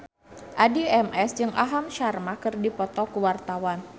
Addie MS jeung Aham Sharma keur dipoto ku wartawan